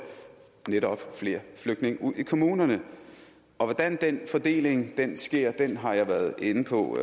flere flygtninge ud i kommunerne hvordan fordelingen sker har jeg været inde på